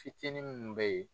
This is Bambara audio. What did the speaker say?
Fitinin minnu bɛ ye.